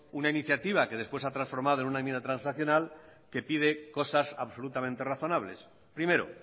una iniciativa que después se hacer transformado en una enmienda transaccional que pide cosas absolutamente razonables primero